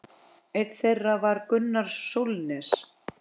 Einn þeirra var Gunnar Sólnes.